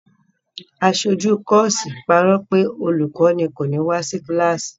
Aṣojú kọ́ọ́sì parọ́ pé olùkọ́ní kò ní wá sí kíláàsì.